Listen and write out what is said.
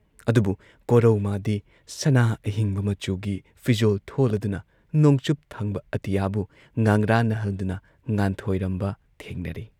ꯑꯗꯨꯕꯨ ꯀꯣꯔꯧ ꯃꯥꯗꯤ ꯁꯅꯥ ꯑꯍꯤꯡꯕ ꯃꯆꯨꯒꯤ ꯐꯤꯖꯣꯜ ꯊꯣꯜꯂꯗꯨꯅ ꯅꯣꯡꯆꯨꯞꯊꯪꯕ ꯑꯇꯤꯌꯥꯕꯨ ꯉꯉ꯭ꯔꯥꯟꯅꯍꯜꯗꯨꯅ ꯉꯥꯟꯊꯣꯏꯔꯝꯕ ꯊꯦꯡꯅꯔꯦ ꯫